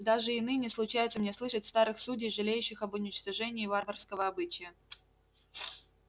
даже и ныне случается мне слышать старых судей жалеющих об уничтожении варварского обычая